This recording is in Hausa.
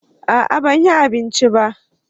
a'a ban yi abinci ba